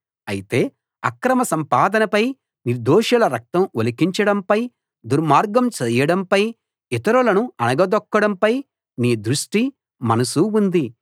అయితే అక్రమ సంపాదనపై నిర్దోషుల రక్తం ఒలికించడంపై దుర్మార్గం చేయడంపై ఇతరులను అణగదొక్కడంపై నీ దృష్టి మనసూ ఉంది